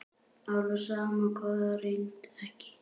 Alveg sama hvað reynt er.